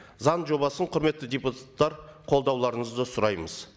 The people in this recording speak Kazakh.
заң жобасын құрметті депутаттар қолдауларыңызды сұраймыз